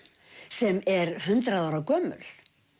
sem er hundrað ára gömul